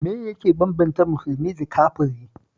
Me yake bambanta musulmi da kafiri